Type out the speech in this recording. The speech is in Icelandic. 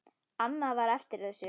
Annað var eftir þessu.